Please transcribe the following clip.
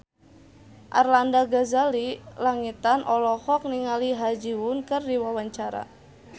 Arlanda Ghazali Langitan olohok ningali Ha Ji Won keur diwawancara